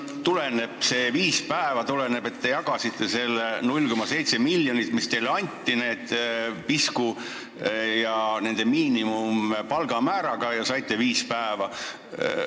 Aga kas see viis päeva tuleneb sellest, et te jagasite selle 0,7 miljonit, mis teile anti, selle pisku miinimumpalga määraga ja saite viis päeva?